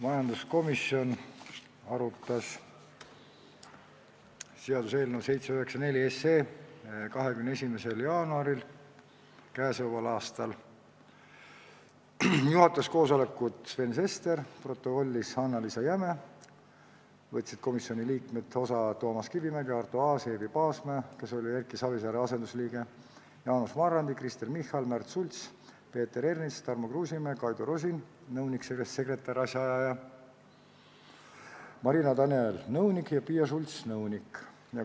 Majanduskomisjon arutas seaduseelnõu 784 21. jaanuaril k.a. Koosolekut juhatas Sven Sester, protokollis Annaliisa Jäme, osa võtsid komisjoni liikmed Toomas Kivimägi, Arto Aas, Eevi Paasmäe, kes oli Erki Savisaare asendusliige, Jaanus Marrandi, Kristen Michal, Märt Sults, Peeter Ernits, Tarmo Kruusimäe, nõunik-sekretariaadijuhataja Kaido Rosin, nõunik Marin Daniel ja nõunik Piia Schults.